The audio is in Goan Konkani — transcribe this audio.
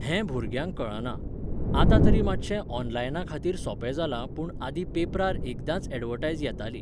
हें भुरग्यांक कळना. आतां तरी मातशें ऑनलायना खातीर सोंपें जालां पूण आदीं पेपरार एकदांच ऍडवर्टायज येताली.